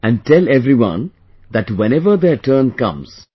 And tell everyone that whenever their turn comes...